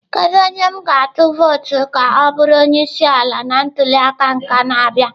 Kedu onye m ga-atụ vootu ka ọ bụrụ onye isi ala na ntuli aka na-abịa?